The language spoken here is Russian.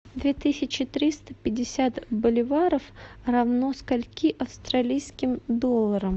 две тысячи триста пятьдесят боливаров равно скольки австралийским долларам